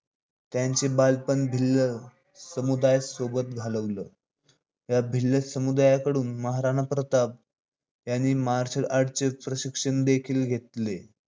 त्यांचे बालपण भिल्ल समुदायास सोबत घालवल. या भिल्ल समुदायाकडून महाराणा प्रताप यांनी marcel art चे प्रशिक्षण देखील घेतलं